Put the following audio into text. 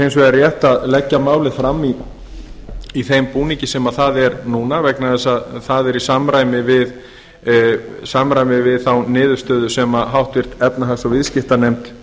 hins vegar rétt að leggja málið fram í þeim búningi sem það er núna vegna þess að það er í samræmi við þá niðurstöðu sem háttvirt efnahags og viðskiptanefnd